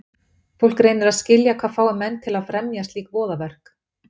fólk reynir að skilja hvað fái menn til að fremja slík voðaverk